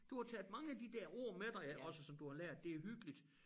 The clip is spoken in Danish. Du har taget mange af de der ord med dig ja også som du har lært det hyggeligt